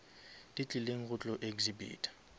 di tlileng go tlo exhibita